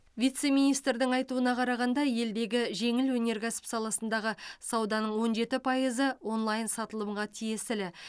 вице министрдің айтуына қарағанда елдегі жеңіл өнеркәсіп саласындағы сауданың он жеті пайызы онлайн сатылымға тиесілі